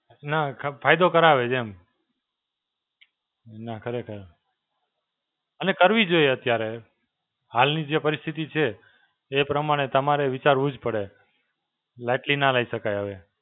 ના ફાયદો કરાવે છે એમ. ના ખરેખર. અને કરવી જોઈએ અત્યારે. હાલની જે પરિસ્થિતિ છે, એ પ્રમાણે તમારે વિચારવું જ પડે. Lightly ના લઈ શકાય હવે.